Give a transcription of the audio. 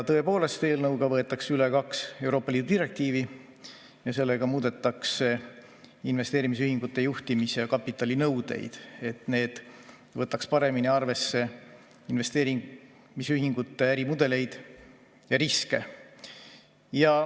Tõepoolest, eelnõuga võetakse üle kaks Euroopa Liidu direktiivi ja muudetakse investeerimisühingute juhtimis‑ ja kapitalinõudeid, et need võtaks paremini arvesse investeerimisühingute ärimudeleid ja riske.